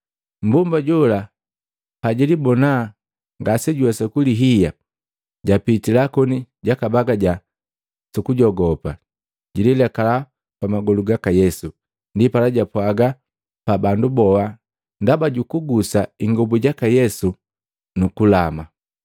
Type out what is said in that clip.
Mmbomba jola pajilibona ngasejuwesa kulihiya, japitila koni jakabagaja sukujogopa. Jililekala pamagolu gaka Yesu. Ndipala japwaga pa bandu boha ndaba jukugusa ingobu jaka Yesu nu kulama.